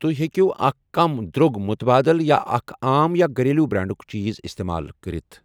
تُہۍ ہیٚکوٕ اکھ کم درٛوٚگ مُتبادل یا اکھ عام یا گَریلو برانڈُک چیٖز اِستعمال کٔرِتھ؟